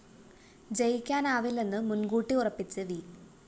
ജയിക്കാനാവില്ലെന്ന് മുന്‍കൂട്ടി ഉറപ്പിച്ച് വി